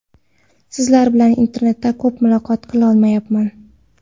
Sizlar bilan internetda ko‘p muloqot qilolmayapman.